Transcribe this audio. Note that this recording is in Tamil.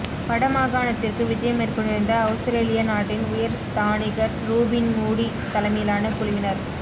வடமாகாணத்திற்கு விஜயம் மேற்கொண்டிருந்த அவுஸ்திரேலியா நாட்டின் உயர் ஸ்தானிகர் ரூபின் மூடி தலைமையிலான குழுவினர்